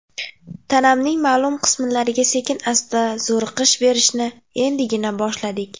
Tanamning ma’lum qismlariga sekin-asta zo‘riqish berishni endigina boshladik.